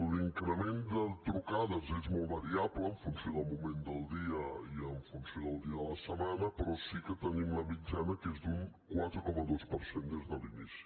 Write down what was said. l’increment de trucades és molt variable en funció del moment del dia i en funció del dia de la setmana però sí que tenim la mitjana que és d’un quatre coma dos per cent des de l’inici